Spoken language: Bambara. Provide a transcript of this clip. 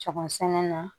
Cɛbɔ sɛnɛ na